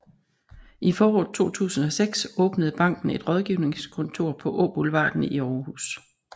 I foråret 2006 åbnede banken et rådgivningskontor på Åboulevarden i Århus